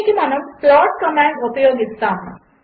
దీనికిమనముప్లాట్కమాండ్ఉపయోగిస్తాము